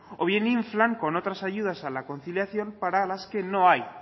o bien inflan con otras ayudas a la conciliación para las que no hay